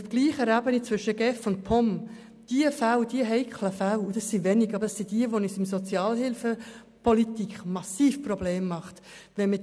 Es sind wenige solcher Fälle, aber es sind diejenigen, die uns in der Sozialhilfepolitik massive Probleme bereiten.